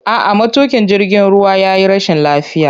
A'a, matuƙin jirgin ruwa ya yi rashin lafiya.